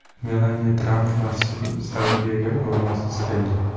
Melaniya Tramp ham Saudiyaga ro‘molsiz keldi.